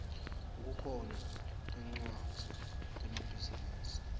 kukhona tmcwadzi temabhizinisi